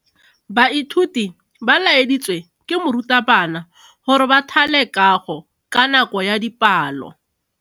Baithuti ba laeditswe ke morutabana gore ba thale kago ka nako ya dipalo.